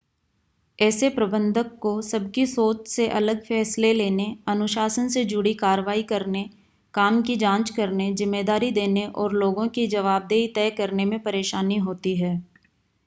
ऐसे प्रबंधक को सबकी सोच से अलग फै़सले लेने अनुशासन से जुड़ी कार्रवाई करने काम की जांच करने ज़िम्मेदारी देने और लोगों की ज़वाबदेही तय करने में परेशानी होती है